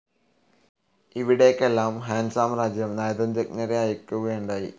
ഇവിടേക്കെല്ലാം Han സാമ്രാജ്യം നയതന്ത്രജ്ഞരെ അയക്കുകയുണ്ടായി.